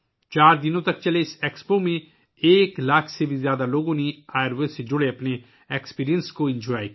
چار دن تک جاری رہنے والے اس ایکسپو میں ایک لاکھ سے زیادہ لوگوں نے آیوروید سے متعلق اپنے تجربات بتائے